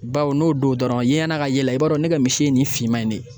Bawo n'o don dɔrɔn yeɲɛna ka ye la, i b'a dɔn ne ka misi ye nin finman in ne ye.